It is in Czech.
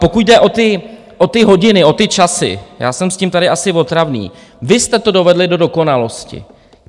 Pokud jde o ty hodiny, o ty časy, já jsem s tím tady asi otravný - vy jste to dovedli do dokonalosti.